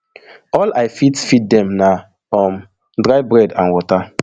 all i fit feed dem na um dry bread and water